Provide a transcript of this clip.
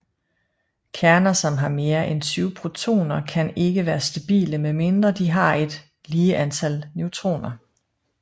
Kerner som har mere end 20 protoner kan ikke være stabile med mindre de har et lige antal neutroner